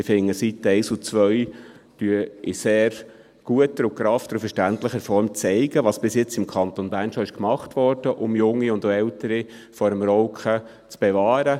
Ich finde, die Seiten 1 und 2 zeigen in sehr guter, geraffter und verständlicher Form, was bisher im Kanton Bern gemacht wurde, um Junge und auch Ältere vor dem Rauchen zu bewahren.